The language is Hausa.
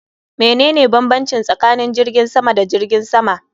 Menene bambanci tsakanin jirgin sama da jirgin sama?